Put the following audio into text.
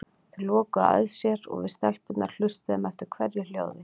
Þau lokuðu að sér og við stelpurnar hlustuðum eftir hverju hljóði.